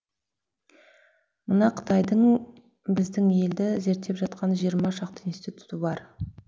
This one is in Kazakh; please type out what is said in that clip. мына қытайдың біздің елді зерттеп жатқан жиырма шақты институты бар